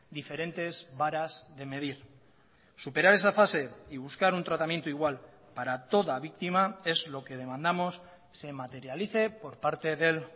diferentes varas de medir superar esa fase y buscar un tratamiento igual para toda víctima es lo que demandamos se materialice por parte del